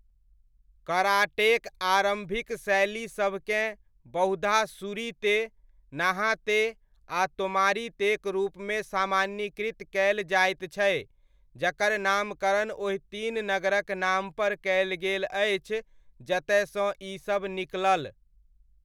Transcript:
कराटेक आरम्भिक शैली सभकेँ बहुधा शूरी ते, नाहा ते आ तोमारी तेक रूपमे सामान्यीकृत कयल जाइत छै जकर नामकरण ओहि तीन नगरक नामपर कयल गेल अछि जतयसँ ई सब निकलल।